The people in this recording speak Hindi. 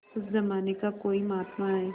उस जमाने का कोई महात्मा है